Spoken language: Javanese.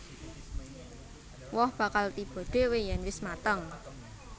Woh bakal tiba dhéwé yèn wis mateng